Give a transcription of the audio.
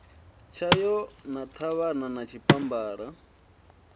tshayo na ṱhavhana na tshipambala